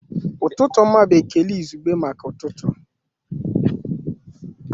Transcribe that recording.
Ụtụtụ ọma bụ ekele izugbe maka ụtụtụ